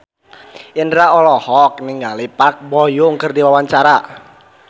Indro olohok ningali Park Bo Yung keur diwawancara